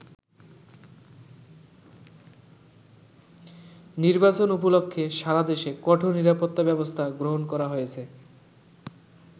নির্বাচন উপলক্ষে সারা দেশে কঠোর নিরাপত্তা ব্যবস্থা গ্রহণ করা হয়েছে।